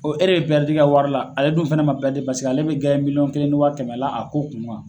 O ɛri bɛ i ka wari la ale dun fana man paseke ale bɛ miliyɔn kelen ni wa kɛmɛ la ko kun kan.